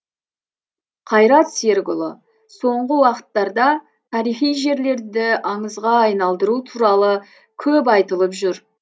қайрат серікұлы соңғы уақыттарда тарихи жерлерді аңызға айналдыру туралы көп айтылып жүр